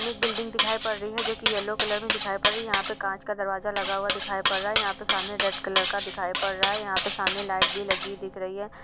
एक बिल्डिंग दिखाई पड़ रही है जो कि येलो कलर में दिखाई पड़ रही है यहाँ पे कांच का दरवाज़ा लगा हुआ दिखाई पड़ रहा है यहाँ पे सामने रेड कलर का दिखाई पड़ रहा है यहाँ पर सामने लाइट भी लगी दिख रही है।